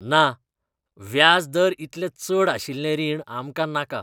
ना! व्याज दर इतले चड आशिल्लें रीण आमकां नाका.